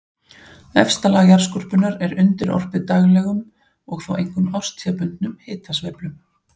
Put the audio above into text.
Efsta lag jarðskorpunnar er undirorpið daglegum og þó einkum árstíðabundnum hitasveiflum.